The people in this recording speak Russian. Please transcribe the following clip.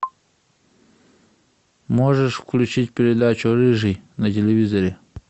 можешь включить передачу рыжий на телевизоре